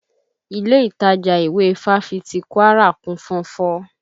Ilé ìtajà ìwé Fáfitì Kwara kún fọ́nfọ́n